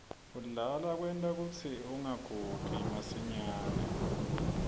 kudlala kwenta kutsi ungagugi masinyane